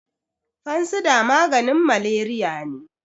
fansida maganin malariya ne